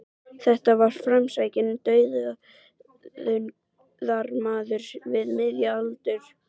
Þetta var framsækinn dugnaðarmaður við miðjan aldur.